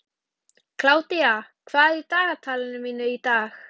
Kládía, hvað er í dagatalinu mínu í dag?